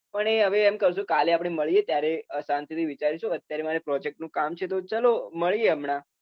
પણ હવે એમ કઉ છુ કે કાલે મળીએ ત્યારે શાંતી થી વીચારીશુ. અત્યારે મારે પ્રોજેક્ટનુ કામ છે તો ચલો મળીએ હમણા